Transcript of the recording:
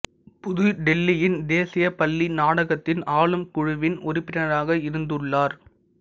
புதுடெல்லியின் தேசிய பள்ளி நாடகத்தின் ஆளும் குழுவின் உறுப்பினராக இருந்துள்ளார்